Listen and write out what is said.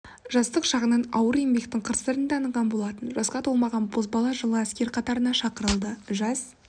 жастық шағынан ауыр еңбектің қыр-сырын таныған болатын жасқа толмаған бозбала жылы әскер қатарына шақырылды жас